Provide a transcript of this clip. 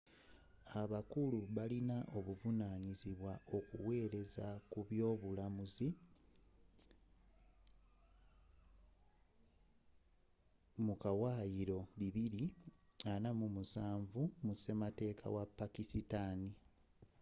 abakulu bano balin'obuvanyizibwa okuwelezza ku by'obulamuzzu mu kawayiro bibiri ana mu musanvu 247 mu sematekka wa pakistani